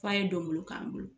F'a ye dɔŋulu k'an bolo.